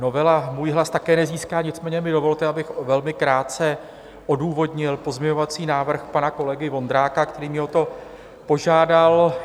Novela můj hlas také nezíská, nicméně mi dovolte, abych velmi krátce odůvodnil pozměňovací návrh pana kolegy Vondráka, který mě o to požádal.